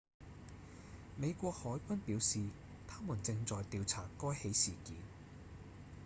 美國海軍表示他們正在調查該起事件